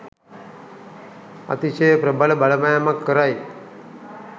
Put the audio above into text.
අතිශය ප්‍රබල බලපෑමක් කරයි.